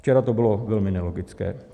Včera to bylo velmi nelogické.